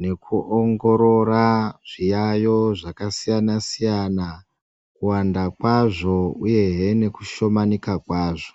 nekuongorora zviyayo zvakasiyana-siyana. Kuwanda kwazvo uyehe nekushomanika kwazvo.